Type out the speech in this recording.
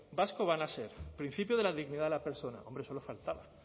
vasco van a ser el principio de la dignidad de la persona hombre solo faltaba